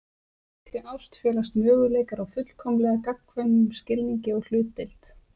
Í slíkri ást felast möguleikar á fullkomlega gagnkvæmum skilningi og hlutdeild.